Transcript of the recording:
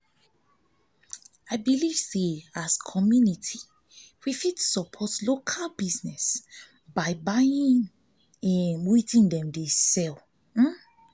as community we fit support local business by um buying wetin dem um dey um sell